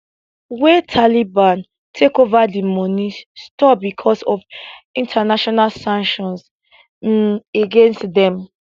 wen taliban take over di money stop becos of international sanctions um against dem